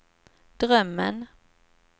drömmen